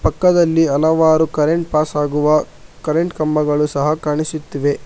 ಪಕ್ಕದಲ್ಲಿ ಹಲವಾರು current pass ಆಗುವ ಕರೆಂಟ್ ಕಂಬಗಳು ಸಹ ಕಾಣಿಸುತ್ತಿವೆ.